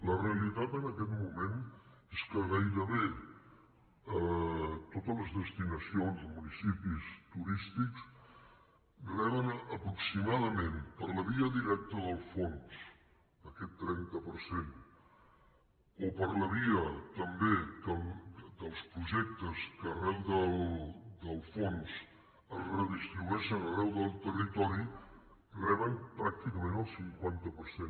la realitat en aquest moment és que gairebé totes les destinacions o municipis turístics reben aproximadament per la via directa del fons aquest trenta per cent o per la via també dels projectes que arran del fons es redistribueixen arreu del territori reben pràcticament el cinquanta per cent